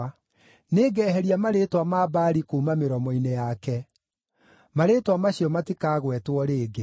Nĩngeheria marĩĩtwa ma Baali kuuma mĩromo-inĩ yake; marĩĩtwa macio matikagwetwo rĩngĩ.